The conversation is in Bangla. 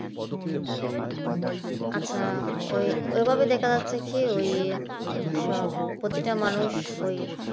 আচ্ছা ওইভাবে ওইভাবে দেখা যাচ্ছে কি সব প্রত্যেকটা মানুষ ওই